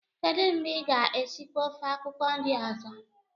kedu mgbe ị ga-esikwa ofe akwukwo nri ozo?